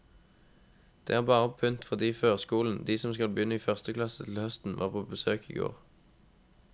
Det er bare pynt fordi førskolen, de som skal begynne i førsteklasse til høsten, var på besøk i går.